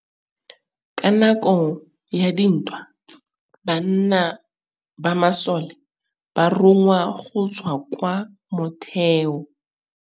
Ka nakô ya dintwa banna ba masole ba rongwa go tswa kwa mothêô.